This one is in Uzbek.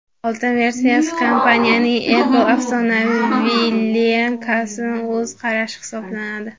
Oltin versiyasi kompaniyaning Apple’ni afsonaviy lineykasiga o‘z qarashi hisoblanadi.